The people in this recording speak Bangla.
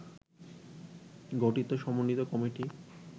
গঠিত সমন্বিত কমিটি